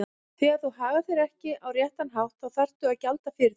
Þegar þú hagar þér ekki á réttan hátt þá þarftu að gjalda fyrir það.